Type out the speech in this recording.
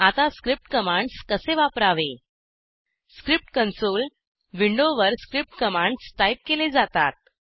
आता script commands कसे वापरावे स्क्रिप्ट कन्सोल विंडोवर स्क्रिप्ट कमांड्स टाईप केले जातात